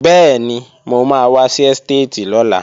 Bẹ́ẹ̀ni, mo máa wá sí ẹ́stéètì lọ́la